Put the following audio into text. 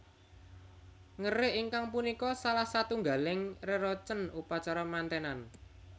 Ngerik inggih punika salah satunggaling reroncen upacara mantenan